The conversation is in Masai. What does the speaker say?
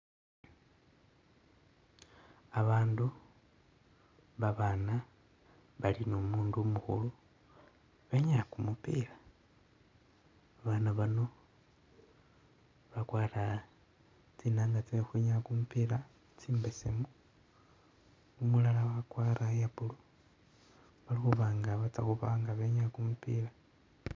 Abandu, babaana bali ni umundu umukhulu, benyaaya kumupila. Babaana bano bakwara tsinaanga tsye khukhwinyaa kumupila tsimbesemu, umulala wakwara iya blue bali khuba nga batsa khuba nga benyaaya kumupila.